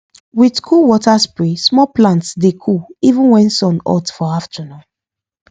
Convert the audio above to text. with cool water spray small plants dey cool even when sun hot for afternoon